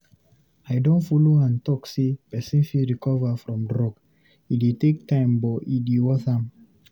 I don follow am talk sey pesin fit recover from drug, e dey take time but e dey worth am.